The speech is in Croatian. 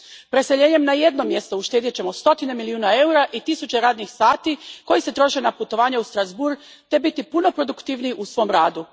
Preseljenjem na jedno mjesto uštedjet ćemo stotine milijuna eura i tisuće radnih sati koji se troše na putovanja u Strasbourg te biti puno produktivniji u svom radu.